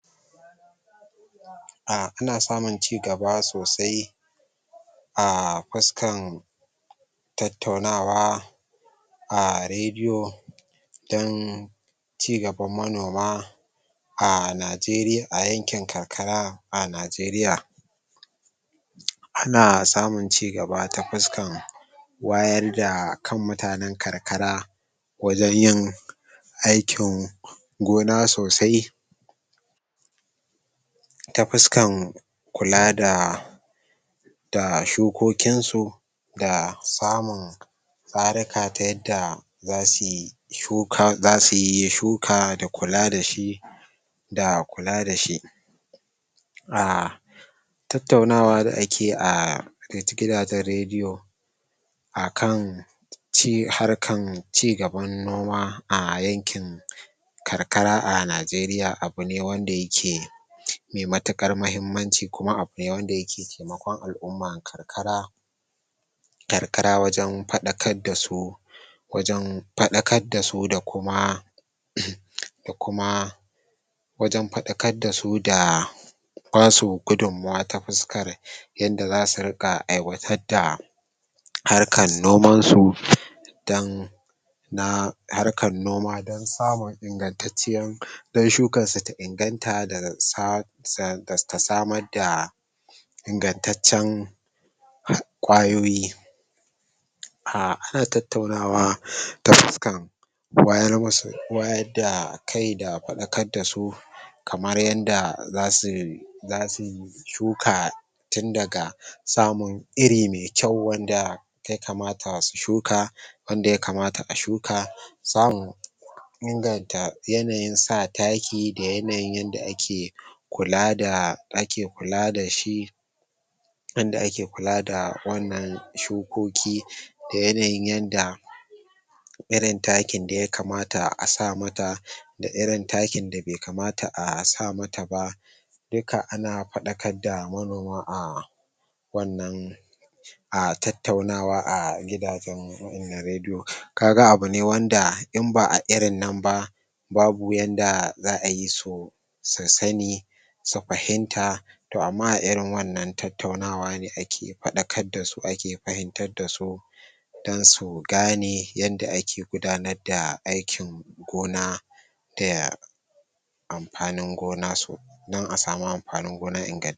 Ana samun ci gaba sosai a fuskan tattaunawa a rediyo dan ci gaban manoma a Nageriya a yankin karkara a Nageriya. Ana samun ci gaba ta fuskan wayar da kan mutanen karkara wajen yin aikin gona sosai ta fuskan kula da da shukokin su da samun tsaruka ta yadda zasuyi shuka zasuyi shuka da kula dashi da kula dashi. a tattaunawa da akeyi a gidajen rediyo akan harkan cigaban noma a yankin karkara a Nageriya abune wanda yake mai matuƙar mahimmanci kuma abune wanda yake taimakon al'umman karkara karkara wajen faɗakar dasu wajen faɗakar dasu da kuma da kuma wajen faɗakar dasu da basu gudummawa ta fuskar yanda zasu riƙa aiwatar da harkan noman su dan na harkan noma dan samun ingantacciyan dan shukan su ta inganta ta samar da ingantaccen ƙwayoyi. Ana tattaunawa ta fuskan wayar musu wayar da kai da faɗakar dasu kamar yanda zasu zasu shuka tundaga samun iri mai kyau wanda ya kamata su shuka wanda ya kamata a shuka samun inganta yanayin sa taki da yanayin yanda ake kulada ake kula dashi yanda ake kula da wannan shukoki da yanayin yanda irin takin da ya kamata a sa mata da irin takin da bai kamata a sa mata ba duka ana faɗakar da manoma a wannan a tattaunawa a gidajen rediyo kaga abune wanda inba a irin nan ba babu yanda za'ayi su su sani su fahimta to amma a irin wannan tattaunawa ne ake faɗakar dasu ake fahimtar dasu dan su gane yanda ake gudanar da aikin gona da amfanin gona su dan a samu amfanin gona ingantance.